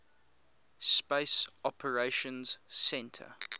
space operations centre